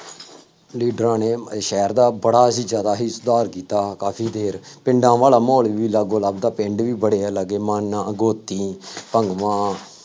ਲੀਡਰਾਂ ਨੇ ਸ਼ਹਿਰ ਦਾ ਬੜਾ ਹੀ ਜ਼ਿਆਦਾ ਸੁਧਾਰ ਕੀਤਾ, ਕਾਫੀ ਦੇਰ ਪਿੰਡਾਂ ਵਾਲਾ ਮਾਹੌਲ ਵੀ ਲਾਗੋ ਲੱਭਦਾ, ਪਿੰਡ ਵੀ ਬੜੇ ਆ ਲਾਗੇ, ਮਾਨਾਂ ਗੋਤੀਂ ਭੰਗਵਾਂ